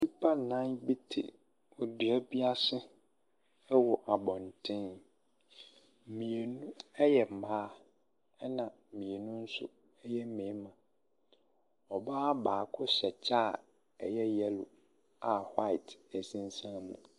Nnipa nnan bi te adua bi ase ɛwɔ abɔnten. Mmienu ɛyɛ mmaa ɛna mmienu nso ɛyɛ mmɛrima. Ɔbaa baako hyɛ kyɛ a ɛyɛ yɛlo a hwaet ɛsensɛn mu.